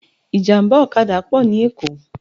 Ìjàmbá ọ̀kadà pọ̀ ní Èkó